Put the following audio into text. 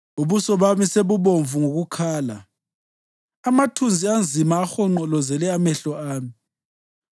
Ubuso bami sebubomvu ngokukhala, amathunzi anzima ahonqolozela amehlo ami;